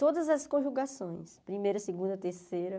Todas as conjugações, primeira, segunda, terceira.